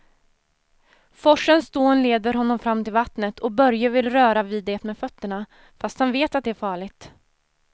Forsens dån leder honom fram till vattnet och Börje vill röra vid det med fötterna, fast han vet att det är farligt.